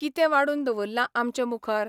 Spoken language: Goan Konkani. कितें वाडून दवरलां आमचे मुखार?